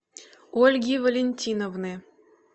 ольги валентиновны